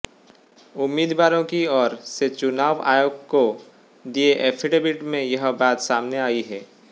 उम्मीदवारों की ओर से चुनाव आयोग को दिए एफिडेविट में यह बात सामने आई है